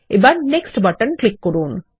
এবার next button click করুন